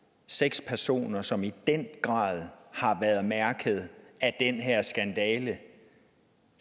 seks personer som i den grad har været mærket af den her skandale